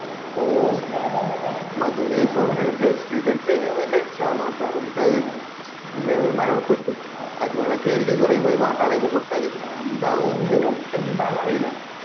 ഓ മധു ന്റെ case ഇല്ലേ ഒരു just ഇത് എടുത്തെന് നാട്ടാര് എന്നിട്ട് അത് മരണപെട്ട് അത് കണക്കായിരിക്കും ഇവരെ കൂടി നാട്ടാരെ കൈമേല് കൊടുത്താല് എന്താ ഒന്നിനും എന്താന്ന് അറിയൂല